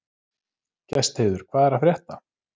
Gestheiður, hvað er að frétta?